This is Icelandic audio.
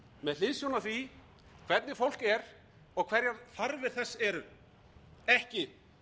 með hliðsjón af því hvernig fólk er og hverjar þarfir þess eru ekki